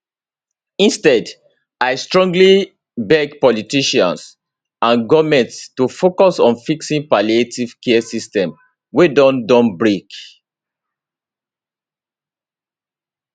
instead i strongly beg politicians and goment to focus on fixing palliative care system wey don don break